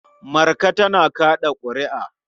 Marka tana kaɗa ƙuri'a.